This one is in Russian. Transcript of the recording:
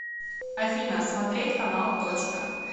афина смотреть канал точка